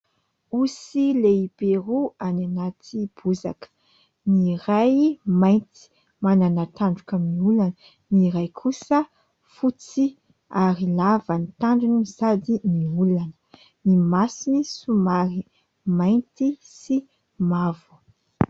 Osy lehibe roa any anaty bozaka ny ray mainty manana tandroka miolana ,ny ray kosa fotsy ary lava ny tandrony sady miolana ny masony somary mainty sy mavo .